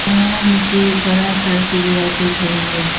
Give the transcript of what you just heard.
यहां मुझे बड़ा सा सीढ़ियां दिख रही है।